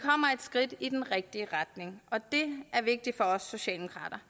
skridt i den rigtige retning og det er vigtigt for os socialdemokrater